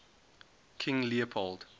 king leopold